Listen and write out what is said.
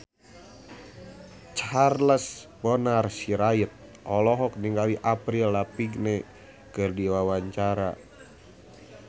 Charles Bonar Sirait olohok ningali Avril Lavigne keur diwawancara